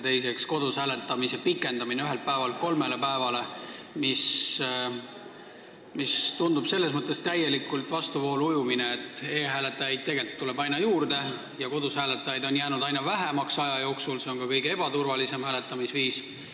Teiseks, kodus hääletamise aja pikendamine ühelt päevalt kolmele päevale, mis tundub selles mõttes täielikult vastuvoolu ujumisena, et e-hääletajaid tegelikult tuleb aina juurde ja kodus hääletajaid on aja jooksul jäänud aina vähemaks ning see on ka kõige ebaturvalisem hääletamisviis.